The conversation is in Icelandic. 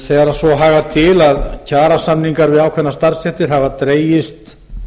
þegar svo hagar til að kjarasamningar við ákveðnar starfsstéttir hafa dregist